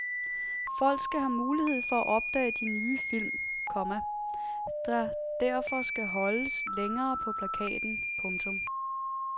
Folk skal have mulighed for at opdage de nye film, komma der derfor skal holdes længere på plakaten. punktum